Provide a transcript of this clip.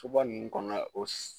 Soba ninnu kɔnɔna na, o